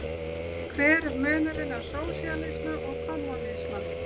Hver er munurinn á sósíalisma og kommúnisma?